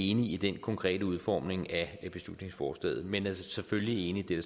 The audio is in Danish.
enig i den konkrete udformning af beslutningsforslaget men vi er selvfølgelig enig i det